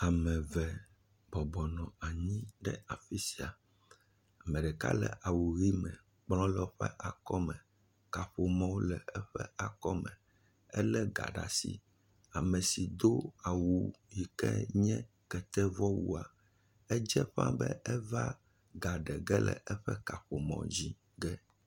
Ame eve bɔbɔ nɔ anyi ɖe afisia, ame ɖeka le awu ʋi. kplɔ le woƒe akɔme, kaƒomɔ le eƒe akɔme ele ga ɖe asi. Ame si do awu sike nye kete vɔ wua, edze ƒã be eva ga ɖe ƒe le eƒe kaƒomɔ dzi.